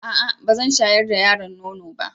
A'a! Ba zan shayar da yaron nono ba.